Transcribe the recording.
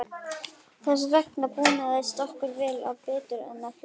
Þess vegna búnaðist okkur vel og betur en flestum.